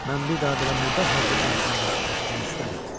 Mən bir daha belə murdar hərəkətlər haqqında eşitmək istəmirəm.